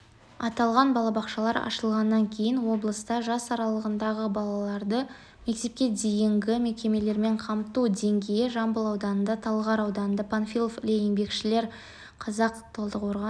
аталған балабақшалар ашылғаннан кейін облыста жас аралығындағы балаларды мектепке дейінгі мекемелермен қамту деңгейі жамбыл ауданында талғар ауданында панфилов іле еңбекшіқазақ талдықорған